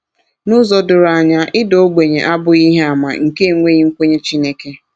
N’ụzọ doro anya, ịda ogbenye abụghị ihe àmà nke enweghị nkwenye Chineke.